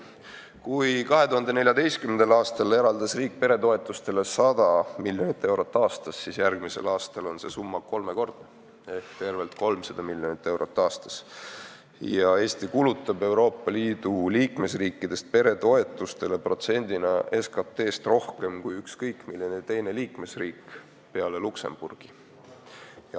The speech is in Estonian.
Kui 2014. aastal eraldas riik peretoetusteks 100 miljonit eurot aastas, siis järgmisel aastal on see summa kolmekordne ehk tervelt 300 miljonit eurot aastas ja Eesti kulutab Euroopa Liidu liikmesriikidest peretoetustele protsendina SKT-st rohkem kui ükskõik milline teine liikmesriik peale Luksemburgi.